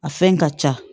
A fɛn ka ca